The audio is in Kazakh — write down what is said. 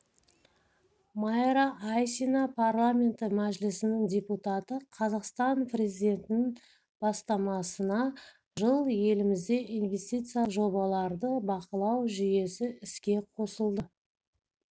майра айсина парламенті мәжілісінің депутаты қазақстан президентінің бастамасына жыл елімізде инвестициялық жобаларды бақылау жүйесі іске қосылды